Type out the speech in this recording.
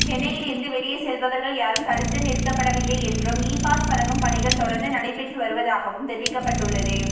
சென்னையில் இருந்து வெளியே செல்பவர்கள் யாரும் தடுத்து நிறுத்தப்படவில்லை என்றும் இபாஸ் வழங்கும் பணிகள் தொடர்ந்து நடைபெற்று வருவதாகவும் தெரிவிக்கப்பட்டுள்ளது